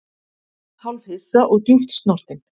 Hálfhissa og djúpt snortinn